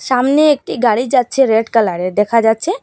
ছামনে একটি গাড়ি যাচ্ছে রেড কালার -এর দেখা যাচ্ছে।